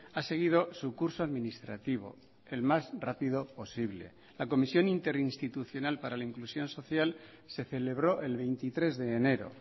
ha seguido su curso administrativo el más rápido posible la comisión interinstitucional para la inclusión social se celebró el veintitrés de enero